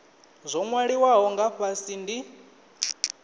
zwo nwaliwaho nga fhasi ndi